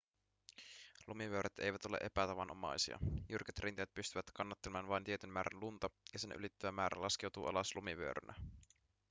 lumivyöryt eivät ole epätavanomaisia jyrkät rinteet pystyvät kannattelemaan vain tietyn määrän lunta ja sen ylittävä määrä laskeutuu alas lumivyörynä